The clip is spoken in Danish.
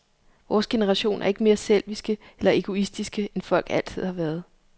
Vores generation er ikke mere selviske eller egoistiske, end folk altid har været.